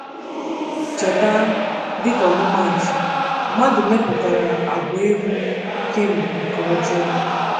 Cheta, dịka ọmụmaatụ, mmadụ mepụtara àgwà ịhụ fim nke ọjọọ.